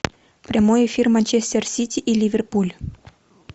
прямой эфир манчестер сити и ливерпуль